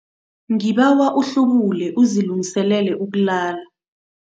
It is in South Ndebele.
Ngibawa uhlubule uzilungiselele ukulala.